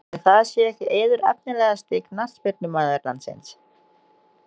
Ætli það sé ekki Eiður Efnilegasti knattspyrnumaður landsins?